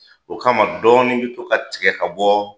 O kama dɔɔnin bi to ka tigɛ ka bɔ